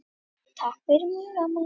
Takk fyrir mig amma.